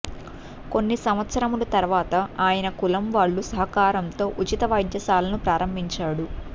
కొన్ని సంవత్సరములు తరువాత ఆయన కులం వాళ్ళ సహకారంతో ఉచిత వైద్యశాలను ప్రారంభించాడు